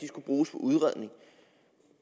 bruges på udredning